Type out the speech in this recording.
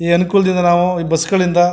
ಈ ಅನುಕೂಲದಿಂದ ನಾವು ಈ ಬಸ್ ಗಳಿಂದ.